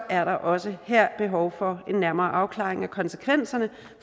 er der også her behov for en nærmere afklaring af konsekvenserne